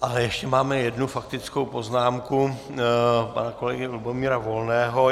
Ale ještě máme jednu faktickou poznámku pana kolegy Lubomíra Volného.